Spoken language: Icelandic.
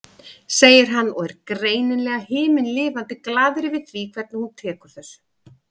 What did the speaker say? segir hann og er greinilega himinlifandi glaður yfir því hvernig hún tekur þessu.